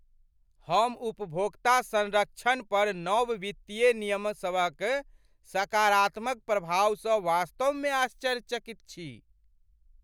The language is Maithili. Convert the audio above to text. हम उपभोक्ता सँरक्षण पर नव वित्तीय नियमसभक सकारात्मक प्रभावसँ वास्तव मे आश्चर्यचकित छी।